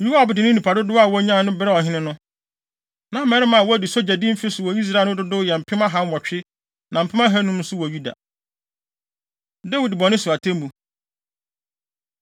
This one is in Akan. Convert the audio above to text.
Yoab de ne nnipa dodow a wonyae brɛɛ ɔhene no. Na mmarima a wɔadu sogyadi mfe so wɔ Israel no dodow yɛ mpem ahanwɔtwe, na mpem ahannum nso wɔ Yuda. Dawid Bɔne So Atemmu